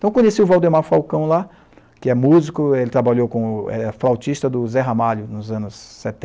Então conheci o Valdemar Falcão lá, que é músico, ele trabalhou com o é, flautista do Zé Ramalho, nos anos